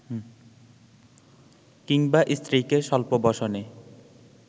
কিংবা স্ত্রীকে স্বল্প বসনে